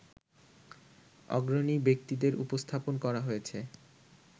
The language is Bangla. অগ্রণী ব্যক্তিদের উপস্থাপন করা হয়েছে